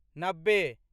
नब्बे